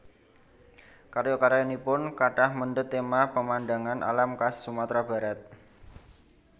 Karya karyanipun kathah mendhet téma pemandangan alam khas Sumatra Barat